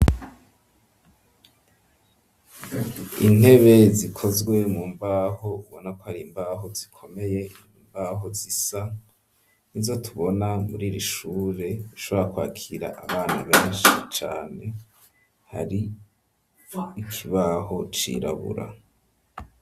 Intebe zikozwe mu mbaho, ubona ko hari imbaho zikomeye, imbaho zisa ni zo tubona muri iri ishure, ishobora kwakira abana benshi cane, hari ikibaho cirabura.